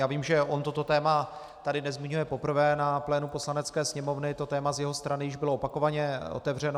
Já vím, že on toto téma tady nezmiňuje poprvé na plénu Poslanecké sněmovny, to téma z jeho strany již bylo opakovaně otevřeno.